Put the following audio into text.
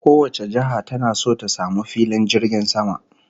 Kowace jiha tana so ta samu filin jirgin sama